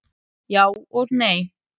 Já og nei.